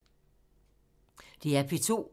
DR P2